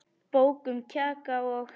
Bók um kajaka og.